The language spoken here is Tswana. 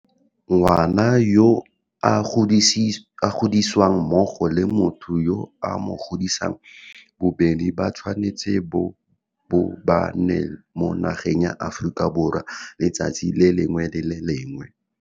Ngwana yo a godisiwang mmogo le motho yo a mo godisang bobedi bo tshwanetse bo bo ba nna mo nageng ya Aforika Borwa letsatsi le lengwe le le lengwe.